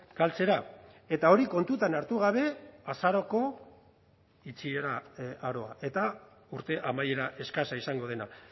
galtzera eta hori kontutan hartu gabe azaroko itxiera aroa eta urte amaiera eskasa izango dena